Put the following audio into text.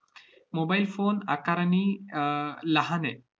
mobile phone आकारांनी अह लहान आहे.